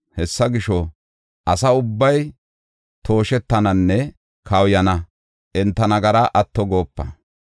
Hessa gisho, asa ubbay tooshettananne kawuyana. Enta nagaraa atto goopa.